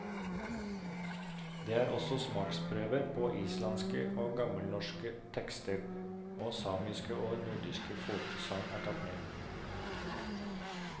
Det er også smaksprøver på islandske og gammelnorske tekster, og samiske og nordnorske folkesagn er tatt med.